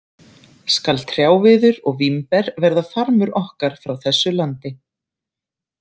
Skal trjáviður og vínber verða farmur okkar frá þessu landi.